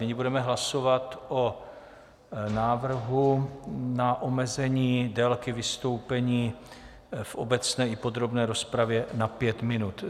Nyní budeme hlasovat o návrhu na omezení délky vystoupení v obecné i podrobné rozpravě na pět minut.